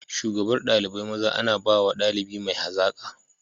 Shugabar dalibai maza ana bawa daliba mai hazaka.